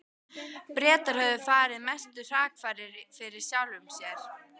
Bretar höfðu farið mestu hrakfarir fyrir sjálfum sér.